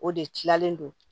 O de kilalen don